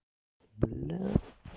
блядь